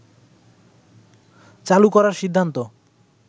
চালু করার সিদ্ধান্ত